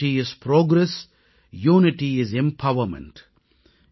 unity is progress unity is empowerment